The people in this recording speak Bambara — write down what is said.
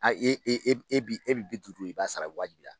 Ayi e e e bi e bi bi duuru in b'a sara waajibila.